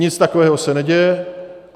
Nic takového se neděje.